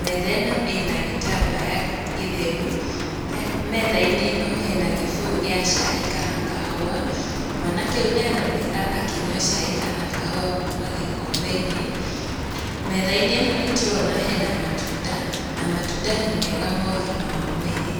metha ĩno ĩna gĩtambaya gĩtheru, metha-inĩ ĩno hena gĩbũyũ gĩa cai kana kahũa, mwanake ũyũ nĩ aroneka akĩnyua cai kana kahũa kuuma gikombe-inĩ, metha-inĩ ĩno nĩ tũrona hena matunda, na matunda nĩ mega ma ũgima wa mwĩrĩ.